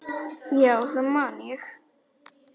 Já, það man ég